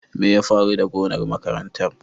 Me ya faru da gonar makarantar?